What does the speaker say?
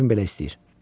Kefim belə istəyir.